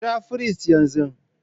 Kira firist yanzu!